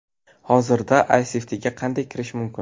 Hozirda ISFT’ga qanday kirish mumkin?